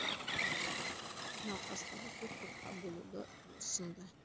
науқастарды төрт топқа бөлуді ұсынды